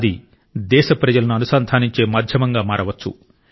అది దేశ ప్రజలను అనుసంధానించే మాధ్యమంగా మారవచ్చు